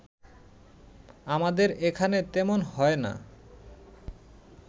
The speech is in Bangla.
আমাদের এখানে তেমন হয় না